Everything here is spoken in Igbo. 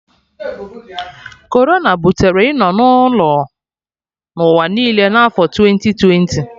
Corona butere ịnọ na ụlọ n'ụwa niile na afo twenti twenti